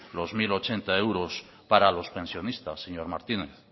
los mil ochenta euros para los pensionistas señor martínez